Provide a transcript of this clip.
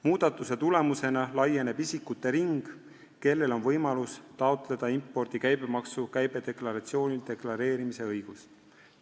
Muudatuse tulemusena laieneb isikute ring, kellel on võimalus taotleda impordi käibemaksu käibedeklaratsioonil deklareerimise õigust.